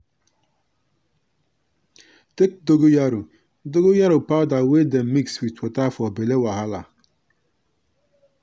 take dongoyaro dongoyaro powder wey dem mix with water for belle wahala.